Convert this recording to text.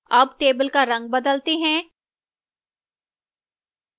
अब table का रंग बदलते हैं